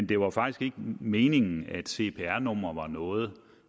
det var faktisk ikke meningen at cpr numre var noget